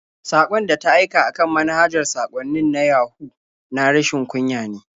Saƙon da ta aika a kan manhajar saƙwannin na Yahu na rashin kunya ne.